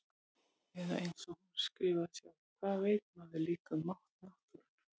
Eða einsog hún skrifaði sjálf: Hvað veit maður líka um mátt náttúrunnar.